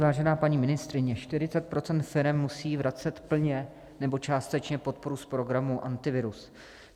Vážená paní ministryně, 40 % firem musí vracet plně nebo částečně podporu z programu Antivirus.